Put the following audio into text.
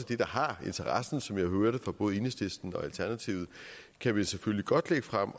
det der har interesse som jeg hører det fra både enhedslisten og alternativet kan man selvfølgelig godt lægge frem